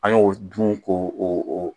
An y'o dun k'o o